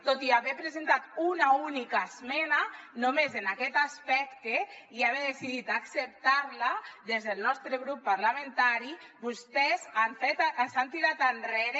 tot i haver presentat una única esmena només en aquest aspecte i haver decidit acceptar la des del nostre grup parlamentari vostès s’han tirat enrere